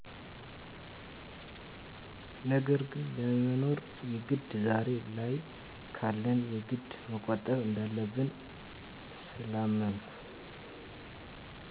ነገን ለመኖር የግድ ዛሬ ላይ ካለን የግድ መቆጠብን እንዳለብኝ ስላመንሁ።